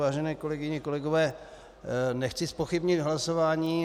Vážené kolegyně, kolegové, nechci zpochybnit hlasování.